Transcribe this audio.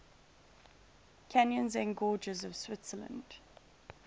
canyons and gorges of switzerland